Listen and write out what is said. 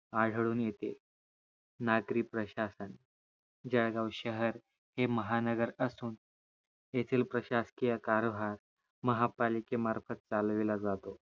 आढळून येते नागरी प्रशासन जळगाव शहर हे महानगर असून येथील प्रशासकीय कारभार महानगरपालिकेमार्फत चालविला जातो